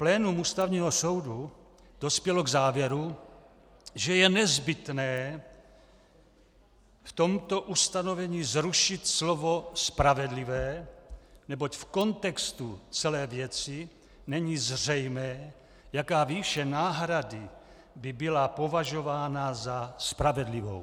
Plénum Ústavního soudu dospělo k závěru, že je nezbytné v tomto ustanovení zrušit slovo spravedlivé, neboť v kontextu celé věci není zřejmé, jaká výše náhrady by byla považována za spravedlivou.